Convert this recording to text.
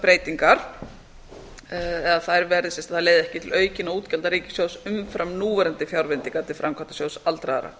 breytingar eða þær leiði ekki til aukinna útgjalda ríkissjóðs umfram núverandi fjárveitingar til framkvæmdasjóðs aldraðra